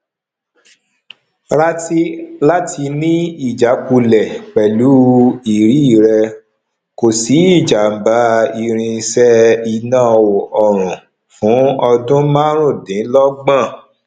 rati láti ni ìjákulẹ pelu ìrì rẹ kò sí ijamba irin se iná ọrùn fún ọdún marun dín logbon